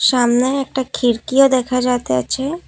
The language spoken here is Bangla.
জানলায় একটা খিরকিও দেখা যাইতাছে ।